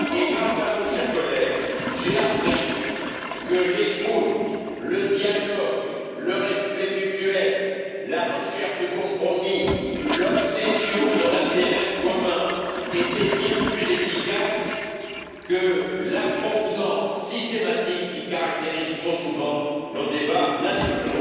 Grâce à vous, chers collègues, j'ai appris que l'écoute, le dialogue, le respect mutuel, la recherche du compromis, l'obsession de l'intérêt commun étaient bien plus efficaces que l'affrontement systématique qui caractérise trop souvent nos débats nationaux.